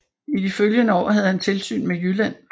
I de følgende år havde han tilsyn med Jylland